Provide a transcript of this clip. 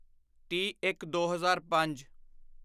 ਤੀਹਇੱਕਦੋ ਹਜ਼ਾਰ ਪੰਜ